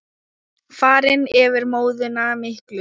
Farin yfir móðuna miklu.